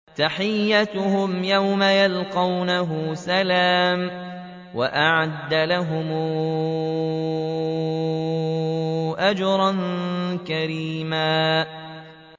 تَحِيَّتُهُمْ يَوْمَ يَلْقَوْنَهُ سَلَامٌ ۚ وَأَعَدَّ لَهُمْ أَجْرًا كَرِيمًا